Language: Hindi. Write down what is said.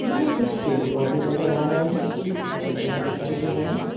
यहाँ कुछ पेड़-पौधे नजर आ रहे हैं एक चबूतरा दिखाई दे रहा है ।